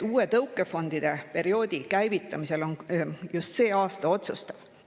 Uue tõukefondide perioodi käivitamisel on just see aasta otsustav.